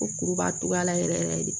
Ko kuru b'a togoya la yɛrɛ yɛrɛ yɛrɛ de